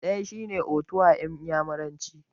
Ɗaya shine 'Otu' a iyamuranci.